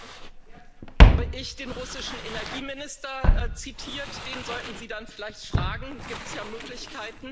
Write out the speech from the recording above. Erstens habe ich den russischen Energieminister zitiert. Den sollten Sie dann vielleicht fragen da gibt es ja Möglichkeiten.